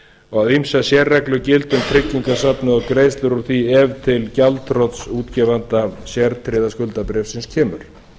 og að ýmsar sérreglur gildi um tryggingasafnið og greiðslur úr því ef til gjaldþrots útgefanda sértryggðs skuldabréfs kemur